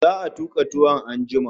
Za'a tuka tuwon an jima